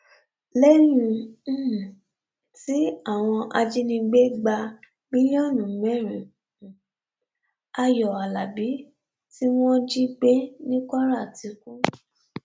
lẹyìn um tí àwọn ajinígbé gba mílíọnù mẹrin um ayọ alábi tí wọn jí gbé ní kwara ti kú